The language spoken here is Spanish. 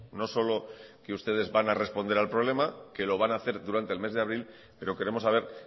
no solo que ustedes van a responder al problema que lo van a hacer durante el mes de abril pero queremos saber